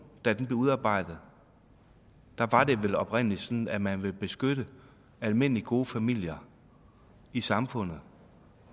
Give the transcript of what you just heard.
blev udarbejdet var det vel oprindelig sådan at man ville beskytte almindelige gode familier i samfundet